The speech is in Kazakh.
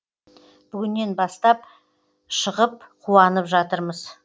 бүгіннен бастап шығып қуанып жатырмыз